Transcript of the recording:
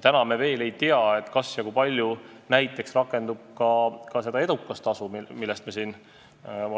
Täna me veel ei tea, kas ja kui palju näiteks rakendub ka see edukustasu, millest me oleme siin